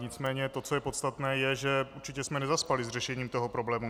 Nicméně to, co je podstatné, je, že určitě jsme nezaspali s řešením toho problému.